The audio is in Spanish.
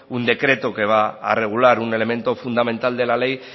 un decreto que va a regular un elemento fundamental de la ley